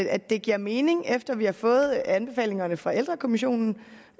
at det giver mening efter vi har fået anbefalingerne fra ældrekommissionen